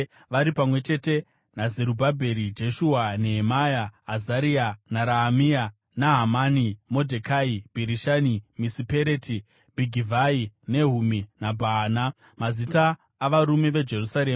vari pamwe chete naZerubhabheri, Jeshua, Nehemia, Azaria, naRaamia, Nahamani, Modhekai, Bhirishani, Misipereti, Bhigivhai, Nehumi naBhaana): Mazita avarume veIsraeri: